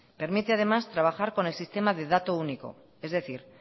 permite además trabajar con el sistema de dato único es decir